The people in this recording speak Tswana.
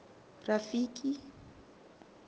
rafiki